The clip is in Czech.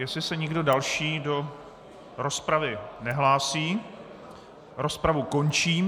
Jestli se někdo další do rozpravy nehlásí, rozpravu končím.